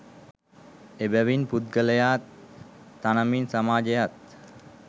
එබැවින් පුද්ගලයා තනමින් සමාජයත්,